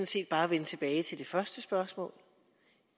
set bare vende tilbage til det første spørgsmål